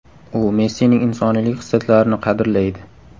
U Messining insoniylik xislatlarini qadrlaydi.